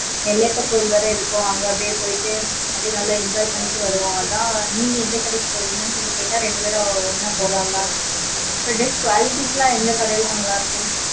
நெல்லையப்பர் கோவில் வேற இருக்கும் அங்க அப்டியே போயிட்டு நல்லா enjoy பண்ணிட்டு வருவோம் அதா நீங்க எந்த கடைக்கு போவிங்கன்னு கேட்டுட்டு அப்டியே ரெண்டு பெரும் ஒண்ணா போகலாம்னுதா qualities லா எந்த கடைல நல்ல இருக்கும்